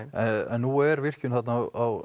en nú er virkjun þarna á